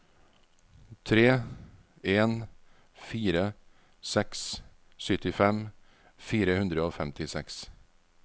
tre en fire seks syttifem fire hundre og femtiseks